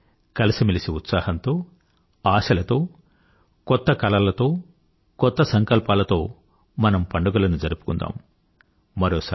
రండి కలసిమెలసి ఉత్సాహంతో ఆశలతో కొత్త కలలతో కొత్త సంకల్పాలతో మనం పండుగలను జరుపుకుందాం